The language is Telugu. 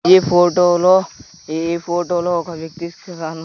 ఈ ఫోటోలో ఈ ఫోటోలో ఒక వ్యక్తి సి గాను--